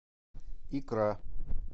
икра